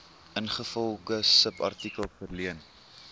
ingevolge subartikel verleen